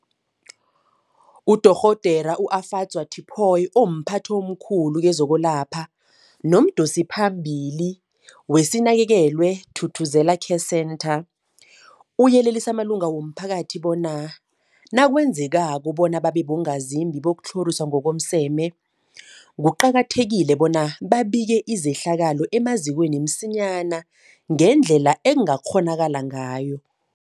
UDorh Efadzwa Tipoy, omphathi omkhulu kezokwelapha nomdosiphambili weSinakekelwe Thuthuzela Care Centre, uyelelise amalunga womphakathi bona nakwenzekako bona babe bongazimbi bokutlhoriswa ngokomseme, kuqakathekile bona babike izehlakalo emazikweni msinyana ngendlela ekungakghonakala ngayo.